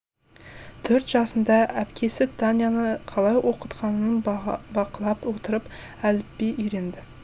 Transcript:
төрт жасында әпкесі таняны қалай оқытқанын бақылап отырып әліпби үйренді